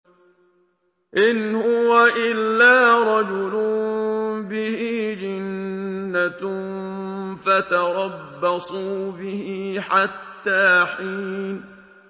إِنْ هُوَ إِلَّا رَجُلٌ بِهِ جِنَّةٌ فَتَرَبَّصُوا بِهِ حَتَّىٰ حِينٍ